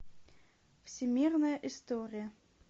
всемирная история